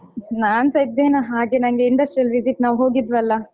ನಾನ್ಸ ಇದ್ದೆನಾ ಹಾಗೆ ನಂಗೆ industrial visit ನಾವು ಹೋಗಿದ್ವಲ್ಲ.